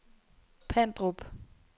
Pandrup